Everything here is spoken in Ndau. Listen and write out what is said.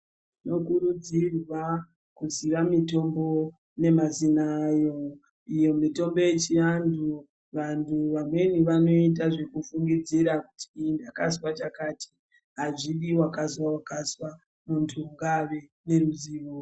Tinokurudzirwa kuziya mitombo nemazina ayo iyo mitombo yechinyanhu vantu vamweni vanoita ekufungidzira kuti ndakazwa chakati azvidii wakazwaa wakazwa muntu ngave neruzivo